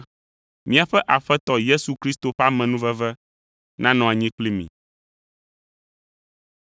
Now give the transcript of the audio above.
Míaƒe Aƒetɔ Yesu Kristo ƒe amenuveve nanɔ anyi kpli mi.